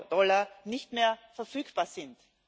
Dollar nicht mehr verfügbar sind.